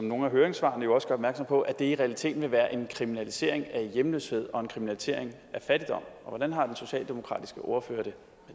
nogle af høringssvarene også gør opmærksom på at det i realiteten vil være en kriminalisering af hjemløshed og en kriminalisering af fattigdom hvordan har den socialdemokratiske ordfører